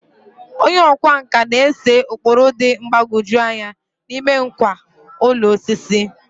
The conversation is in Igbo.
Onye ọkwá nkà na-ese ụkpụrụ dị mgbagwoju anya n'ime ngwá ụlọ osisi.